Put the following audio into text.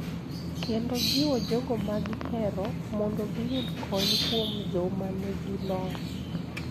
Kendo jiwo jogo ma gihero mondo giyud kony kuom joma nigi lony,